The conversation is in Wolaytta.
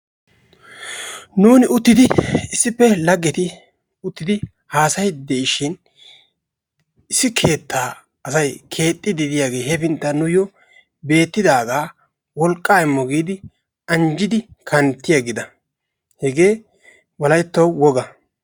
Nuun uttidi issippe laggeti uttidi haassayidde de'ishin issi keettaa asay kexxidi diyaage hefinttan nuyyo beettidaaga wolqqa immo giidi anjjidi kantti aggida. Hegee Wolayttawu woga.